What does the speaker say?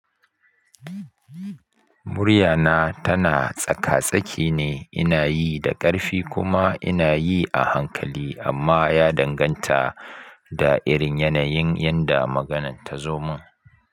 Muryana tana tsaka-tsaki ne, ina yi da ƙarfi kuma ina yi a hankali, amma ya danganta da irin yanayin yadda maganan ta zo mun.